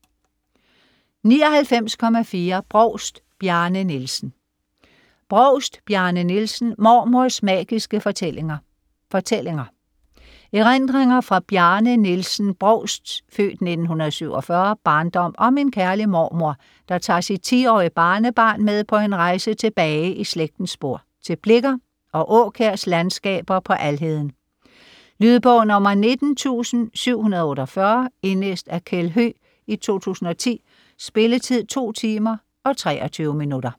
99.4 Brovst, Bjarne Nielsen Brovst, Bjarne Nielsen: Mormors magiske fortællinger: fortællinger Erindringer fra Bjarne Nielsen Brovsts (f. 1947) barndom om en kærlig mormor, der tager sit 10-årige barnebarn med på en rejse tilbage i slægtens spor - til Blicher og Aakjærs landskaber på Alheden. Lydbog 19748 Indlæst af Kjeld Høegh, 2010. Spilletid: 2 timer, 23 minutter.